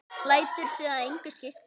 Lætur sig það engu skipta.